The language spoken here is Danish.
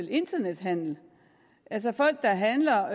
internethandel altså folk der handler